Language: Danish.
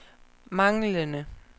manglende